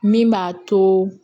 Min b'a to